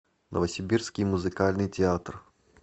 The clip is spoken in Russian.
новосибирский музыкальный театр